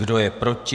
Kdo je proti?